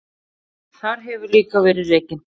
Þar hefur líka verið rekin